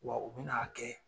Wa u bɛna'a kɛ.